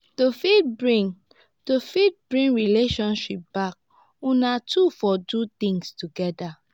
to fit bring to fit bring friendship back una two for do things together